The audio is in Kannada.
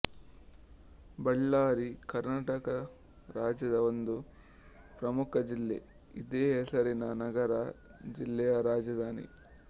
ಬಳ್ಳಾರಿ ಕರ್ನಾಟಕ ರಾಜ್ಯದ ಒಂದು ಪ್ರಮುಖ ಜಿಲ್ಲೆ ಇದೇ ಹೆಸರಿನ ನಗರ ಜಿಲ್ಲೆಯ ರಾಜಧಾನಿ